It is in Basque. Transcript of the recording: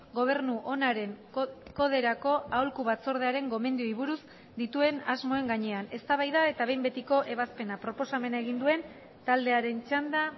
gobernu onaren koderako aholku batzordearen gomendioei buruz dituen asmoen gainean eztabaida eta behin betiko ebazpena proposamena egin duen taldearen txanda